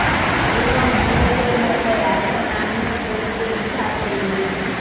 এবং বুড়োদের মতো এখন আমিও বলতে দ্বিধা করি না